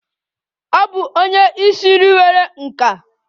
Ọ bụ onye isi nri nwere nkà.